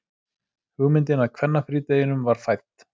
Hugmyndin að kvennafrídeginum var fædd.